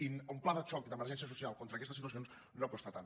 i un pla de xoc d’emergència social contra aquestes situacions no costa tant